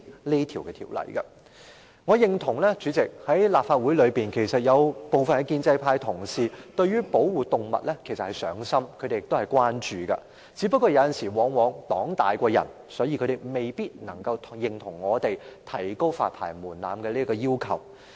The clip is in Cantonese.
代理主席，我認同在立法會內，其實有部分建制派同事對於保護動物是"上心"和關注的，只不過往往"黨大於人"，他們未必能夠認同我們提高發牌門檻的要求。